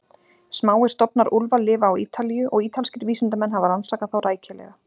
Smáir stofnar úlfa lifa á Ítalíu og ítalskir vísindamenn hafa rannsakað þá rækilega.